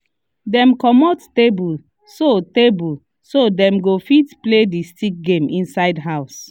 dem comot table so table so dem go fit play the stick game inside house